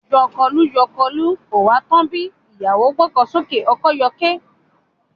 Yọkọlú-yọkọlú, kò ha tán bí? ìyàwó gbọ́kọ ṣánlẹ̀, ọkọ yọké.